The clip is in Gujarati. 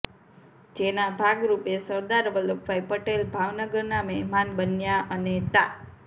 જેના ભાગરૃપે સરદાર વલ્લભભાઈ પટેલ ભાવનગરના મહેમાન બન્યા અને તા